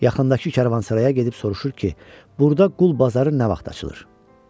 Yaxındakı karvansaraya gedib soruşur ki, burada qul bazarı nə vaxt açılır?